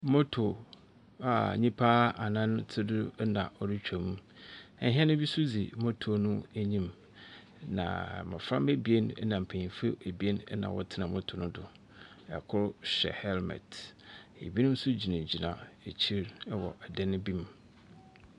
Moto a nipa anan te do ena ɔretwam. Ɛhɛn be so dzi moto no anyim na mmɔframa ebien ena mbeyinfo ebien ɛna wɔte moto no do. Ɛkor hyɛ hɛlmɛt, ebinom so gyina gyina akyir ɛwɔ adeɛ no bi mu.